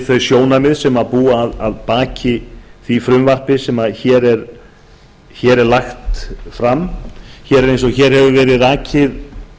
þau sjónarmið sem búa að baki því frumvarpi sem hér er lagt fram hér er eins og hér hefur verið rakið